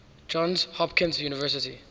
johns hopkins university